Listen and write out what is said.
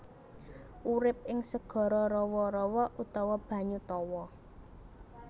Urip ing segara rawa rawa utawa banyu tawa